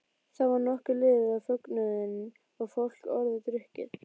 Þá var nokkuð liðið á fögnuðinn og fólk orðið drukkið.